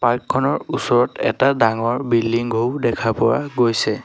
Park খনৰ ওচৰত এটা ডাঙৰ বিল্ডিং ঘও দেখা পোৱা গৈছে।